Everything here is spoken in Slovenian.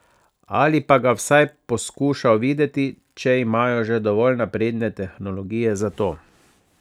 Ali pa ga vsaj poskušal videti, če imajo že dovolj napredne tehnologije za to.